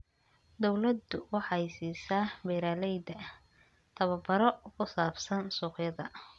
Dawladdu waxay siisaa beeralayda tababaro ku saabsan suuqyada.